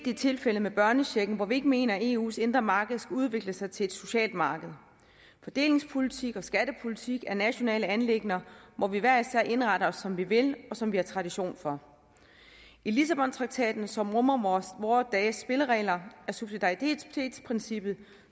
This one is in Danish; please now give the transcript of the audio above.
i tilfældet med børnechecken hvor vi ikke mener at eus indre marked skal udvikle sig til et socialt marked fordelingspolitik og skattepolitik er nationale anliggender hvor vi hver især indretter os som vi vil og som vi har tradition for i lissabontraktaten som rummer vore dages spilleregler er subsidaritetsprincippet